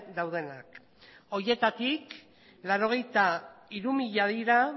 daudenak horietatik laurogeita hiru mila dira